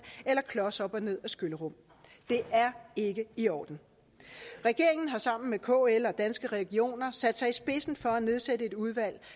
eller klos op og ned ad skyllerum det er ikke i orden regeringen har sammen med kl og danske regioner sat sig i spidsen for at nedsætte et udvalg